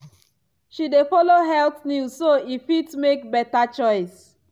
she dey follow health news so e fit make better choice.